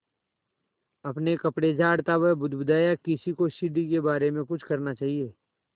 अपने कपड़े झाड़ता वह बुदबुदाया किसी को सीढ़ी के बारे में कुछ करना चाहिए